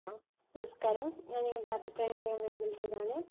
hello നമസ്കാരം ഞാൻ നിങ്ങളുടെ അഭിപ്രായം അറിയാൻ വേണ്ടി വിളിച്ചതാണ്